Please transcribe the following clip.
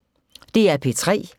DR P3